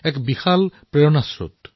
তেওঁলোক প্ৰেৰণাৰ এক অন্তহীন স্ৰোত